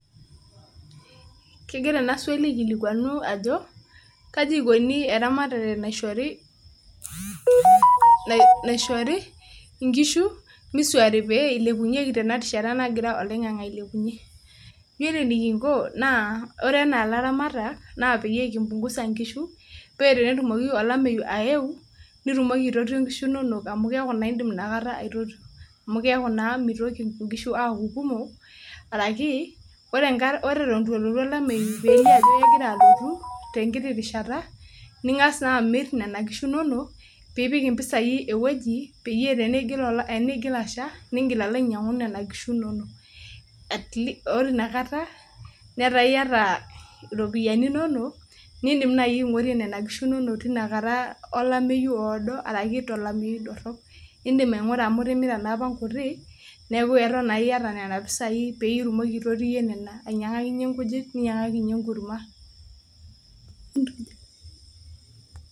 kegira ena swali aikilikuanu Kaji ikoni eramatare naishori inkushi misuaari pee ilepunyeki te na rishata nagira oloing'ang'e aibelekenya ore anaa ilaramatak nikimpungusa nkishu, paa tenelotu olameyu nitumoki ataramata nkishu inonok ,amu idim inakata aitotio. amu keeku naa mitoki nkishu aaku kumok, araki ore eton eitu elotu olameyu, tenkiti rishata ningas amir inkishu inonok. nipik iropiyiani enkae wueji.